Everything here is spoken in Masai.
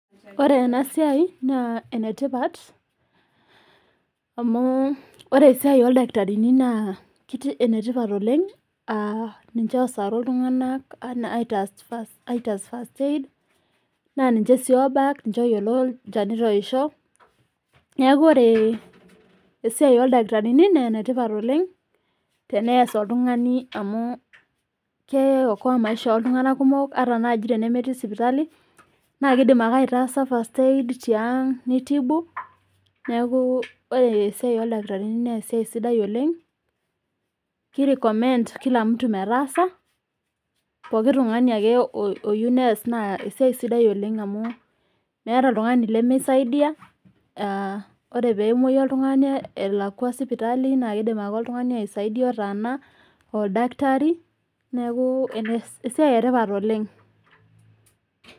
Ore ena siai naa enetipat amu ore esiai ildakitarini naa ketii enetipat oleng, ninche oosaru iltunganak aitaas first aid naa ninche sii oobak ,ninche oyiolo ilchanita ook. Neaku oree esiai oldakitarini naa enetipat oleng tenees oltungani amuu keokoa imeisha oltungana kumok ata naaji enemetii isipitali naa keidim ake aitaasa first aid tiang' neitibu, neaku ore esiai oldakitarini nee esiai sidai oleng keirecomend kila mtu metaasa pooki tungani ake oyeu neas naa esiai sidai oleng amu meeta oltungani lemeisaidiya, ore peemoi oltungani elakwa sipitali naa keidim ake oltungani aisaidia otaana, oldakitari naaku esiai etipat oleng.